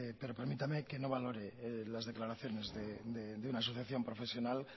pero permítame que no valore las declaraciones de una asociación profesional